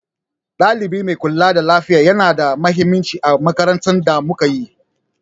Ɗalibi mai kula da lafiya yana da mahimmanci a makarantun da muka yi.